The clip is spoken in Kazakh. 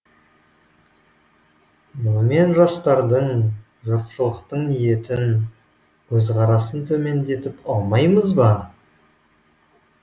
мұнымен жастардың жұртшылықтың ниетін көзқарасын төмендетіп алмаймыз ба